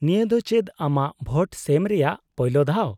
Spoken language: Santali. -ᱱᱤᱭᱟᱹ ᱫᱚ ᱪᱮᱫ ᱟᱢᱟᱜ ᱵᱷᱳᱴ ᱥᱮᱢ ᱨᱮᱭᱟᱜ ᱯᱚᱭᱞᱳ ᱫᱷᱟᱣ ?